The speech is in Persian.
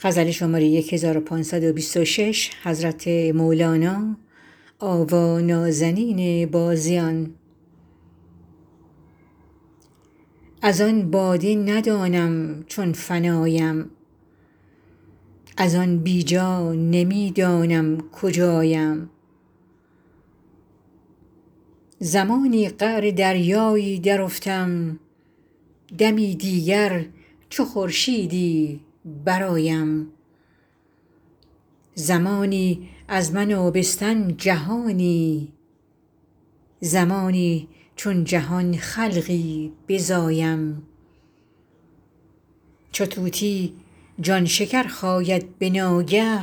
از آن باده ندانم چون فنایم از آن بی جا نمی دانم کجایم زمانی قعر دریایی درافتم دمی دیگر چو خورشیدی برآیم زمانی از من آبستن جهانی زمانی چون جهان خلقی بزایم چو طوطی جان شکر خاید به ناگه